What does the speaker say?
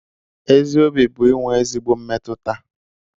Ezi Obi bu inwee ezigbo mmetuta.